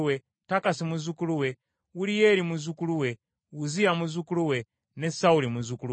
Takasi muzzukulu we, Uliyeri muzzukulu we, Uzziya muzzukulu we, ne Sawuli muzzukulu we.